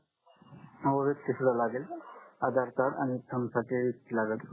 हो व्यक्ति सुद्धा लागेल न आधार कार्ड आणि थंबसाठी